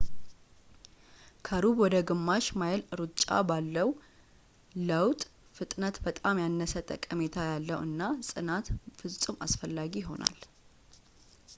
ከሩብ ወደ ግማሽ ማይል ሩጫ ባለው ለውጥ ፣ ፍጥነት በጣም ያነሰ ጠቀሜታ ያለው እና ጽናት ፍጹም አስፈላጊ ይሆናል